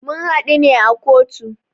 Mun hadu ne a kotu.